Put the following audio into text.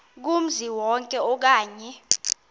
kumzi wonke okanye